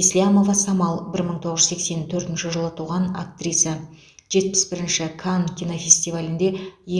еслямова самал бір мың тоғыз жүз сексен төртінші жылы туған актриса жетпіс бірінші канн кинофестивалінде